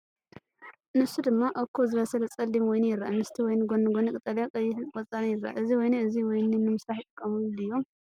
ንሱ ድማ እኩብ ዝበሰለ ጸሊም ወይኒ የርኢ። ምስቲ ወይኒ ጎኒ ጎኒ ቀጠልያን ቀይሕን ቆጽሊ ይረአ። እዚ ወይኒ እዚ ወይኒ ንምስራሕ ይጥቀሙሉ ድዮም?